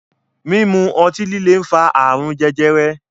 Mímu otí líle ń fa ààrùn jẹjẹrẹ.